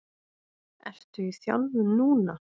Ertu í þjálfun núna?